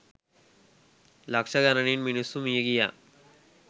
ලක්ෂ ගණනින් මිනිස්සු මිය ගියා.